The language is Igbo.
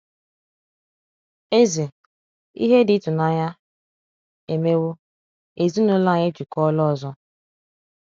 Eze: Ihe dị ịtụnanya emewo—ezinụlọ anyị ejikọọla ọzọ!